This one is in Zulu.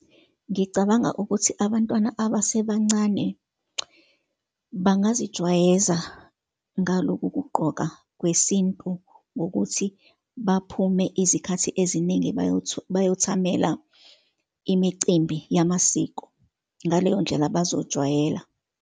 Ngicabanga ukuthi abantwana abasebancane bangazijwayeza ngaloku kugqoka kwesintu ngokuthi baphume izikhathi eziningi bayothamela imicimbi yamasiko. Ngaleyo ndlela bazojwayela.